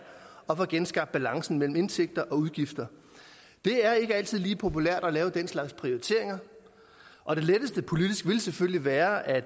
at få genskabt balancen mellem indtægter og udgifter det er ikke altid lige populært at lave den slags prioriteringer og det letteste politisk ville selvfølgelig være at